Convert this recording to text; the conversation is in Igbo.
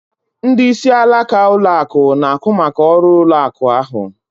Ndị isi alaka ụlọ akụ na-ahụ maka ọrụ ụlọ akụ ahụ